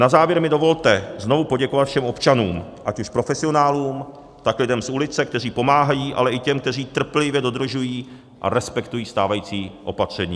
Na závěr mi dovolte znovu poděkovat všem občanům, ať už profesionálům, tak lidem z ulice, kteří pomáhají, ale i těm, kteří trpělivě dodržují a respektují stávající opatření.